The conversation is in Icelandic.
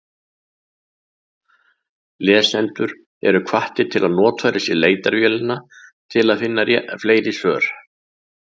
Lesendur eru hvattir til að notfæra sér leitarvélina til að finna fleiri svör.